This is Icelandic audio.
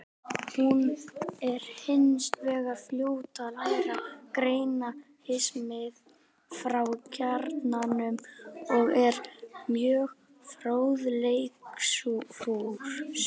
Hún er hins vegar fljót að læra, greina hismið frá kjarnanum og er mjög fróðleiksfús.